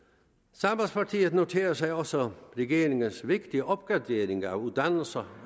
sambandspartiet noterer sig også regeringens vigtige opgradering af uddannelserne